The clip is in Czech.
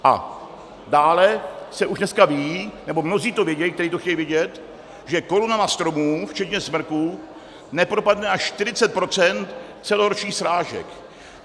A dále se už dneska ví, nebo mnozí to vědí, kteří to chtějí vědět, že korunami stromů včetně smrků nepropadne až 40 % celoročních srážek.